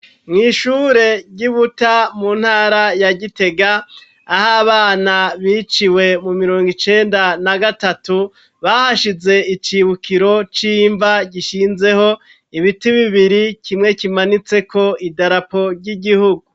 Mw'ishure ry'Ibuta, mu ntara ya Gitega, aho abana biciwe mu mirongo icenda na gatatu, bahashize icibukiro c'imva gishinzeho ibiti bibiri, kimwe kimanitseko idarapo ry'igihugu.